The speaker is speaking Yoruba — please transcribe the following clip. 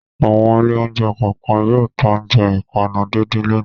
Àwọn ilé-oúnjẹ kọ̀ọ̀kan yóò ta oúnjẹ ìpanu díndín lónìí.